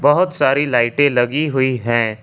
बहुत सारी लाइटें लगी हुई हैं।